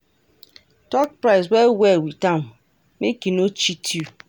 Talk price well well with am make e no cheat you.